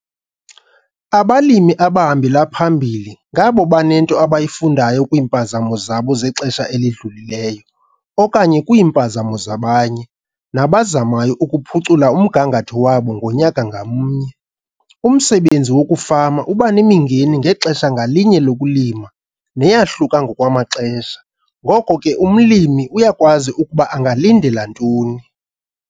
Abalimi abahambela phambili ngabo banento abayifundayo kwiimpazamo zabo zexesha elidlulileyo, okanye kwiimpazamo zabanye, nabazamayo ukuphucula umgangatho wabo ngonyaka ngamnye. Umsebenzi wokufama uba nemingeni ngexesha ngalinye lokulima neyahluka ngokwamaxesha, ngoko ke umlimi uyakwazi ukuba angalindela ntoni.